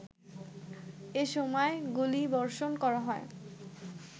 এ সময় গুলিবর্ষণ করা হয়